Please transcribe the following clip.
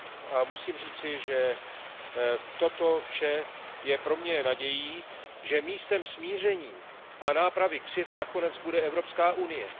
A musím říci, že toto vše je pro mě nadějí, že místem smíření a nápravy křivd nakonec bude Evropská unie.